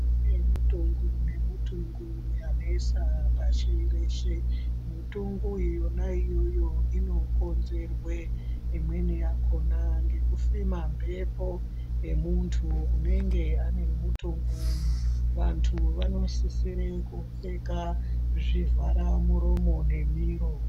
Kune mutongo ne mutongo yanesa pashi reshe mutongo yona iyoyo ino konzerwe imweni yakona ngeku fema mbepo ye muntu unenge ane mutongo uyu vantu vano sisire ku pfeka zvi vhara muromo nge miro.